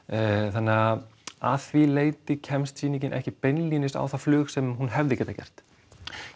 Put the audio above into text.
þannig að að því leyti kemst sýningin ekki beinlínis á það flug sem hún hefði getað gert